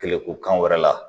Kɛlɛkokan wɛrɛ la